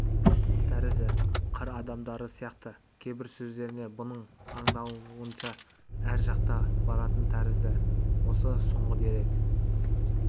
тәрізі қыр адамдары сияқты кейбір сөздерінен бұның аңдауынша ар жақта баратын тәрізді осы соңғы дерек